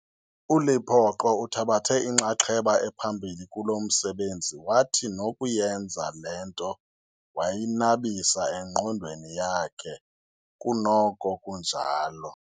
ULepoqo uthabathe inxaxheba ephambili kulo msebenzi, wathi nokuyenza le nto wayinabisa engqondweni yakhe kunoko kunjalo.